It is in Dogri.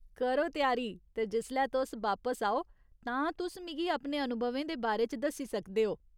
करो त्यारी ते जिसलै तुस बापस आओ, तां तुस मिगी अपने अनुभवें दे बारे च दस्सी सकदे ओ।